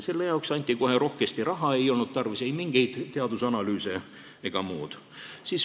Selle jaoks anti kohe rohkesti raha, ei olnud tarvis ei mingeid teadusanalüüse ega muud.